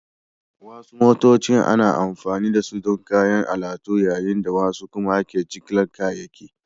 Wasu motocin ana amfani da su don kayan alatu yayin da wasu kuma ake jigilar kayayyaki